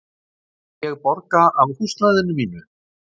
Má ég borga af húsnæðinu mínu?